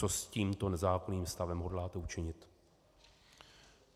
Co s tímto nezákonným stavem hodláte učinit?